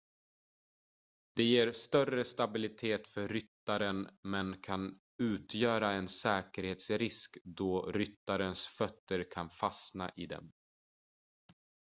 de ger större stabilitet för ryttaren men kan utgöra en säkerhetsrisk då ryttarens fötter kan fastna i dem